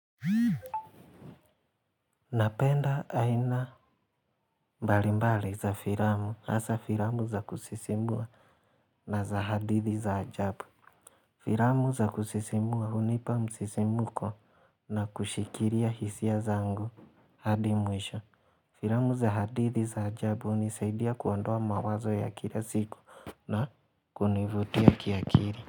Napenda aina mbalimbali za filamu hasa filamu za kusisimua na za hadithi za ajabu. Filamu za kusisimua hunipa msisimko na kushikiria hisia zangu hadi mwisho. Filamu za hadithi za ajabu hunisaidia kuondoa mawazo ya kila siku na kunivutia kiakili.